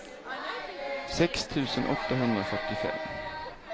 sex tusen åttahundrafyrtiofem